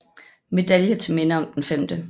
Medalje til Minde om den 5